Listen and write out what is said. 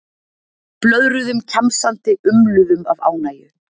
Blöðruðum kjamsandi, umluðum af ánægju.